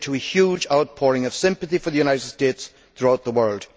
This led to a huge outpouring of sympathy for the United States throughout the world.